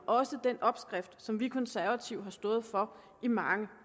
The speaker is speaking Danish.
også den opskrift som vi konservative har stået for i mange